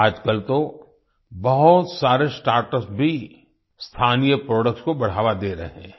आजकल तो बहुत सारे स्टार्टअप्स भी स्थानीय प्रोडक्ट्स को बढ़ावा दे रहे हैं